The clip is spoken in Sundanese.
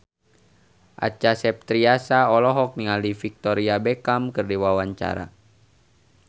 Acha Septriasa olohok ningali Victoria Beckham keur diwawancara